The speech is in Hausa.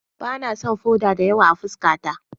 Ba na son foda da yawa a fuskata.